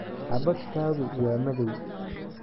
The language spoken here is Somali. Xabagtaadu waa madow